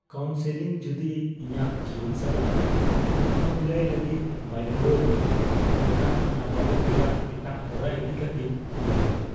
Counselling ᱡᱩᱫᱤ ᱤᱧᱟᱹᱜ ᱡᱤᱭᱚᱱ ᱥᱟᱞᱟᱜ ᱢᱳᱠᱟᱵᱤᱞᱟᱭ ᱞᱟᱹᱜᱤᱫ ᱵᱟᱭ ᱜᱚᱲᱚ ᱟᱹᱧᱟᱹ ᱮᱱᱠᱷᱟᱱ ᱱᱟᱯᱟᱭᱚᱜ ᱨᱮᱭᱟᱜ ᱮᱴᱟᱜ ᱦᱚᱨᱟ ᱤᱫᱤ ᱠᱟᱹᱛᱤᱧ ᱩᱭᱦᱟᱹᱨᱟ ᱾